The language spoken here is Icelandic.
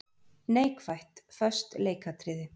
Neikvætt:- Föst leikatriði.